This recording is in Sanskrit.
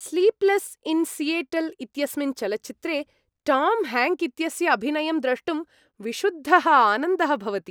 स्लीप्लेस् इन् सियेटल् इत्यस्मिन् चलच्चित्रे टाम् हेङ्क् इत्यस्य अभिनयं द्रष्टुं विशुद्धः आनन्दः भवति।